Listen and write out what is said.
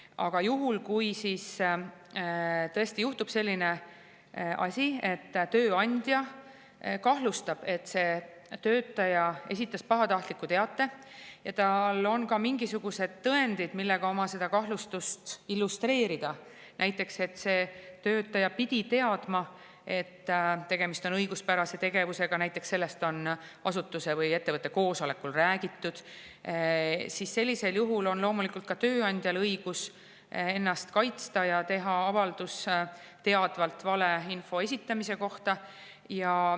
Aga juhul, kui tõesti juhtub selline asi, et tööandja kahtlustab, et töötaja esitas pahatahtliku teate, ja tal on ka mingisugused tõendid, millega oma kahtlustust illustreerida – näiteks pidi see töötaja teadma, et tegemist on õiguspärase tegevusega, sest sellest on asutuse või ettevõtte koosolekul räägitud –, siis on loomulikult ka tööandjal õigus ennast kaitsta ja teha avaldus teadvalt vale info esitamise kohta.